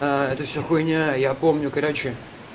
аа это все хуйня я помню короче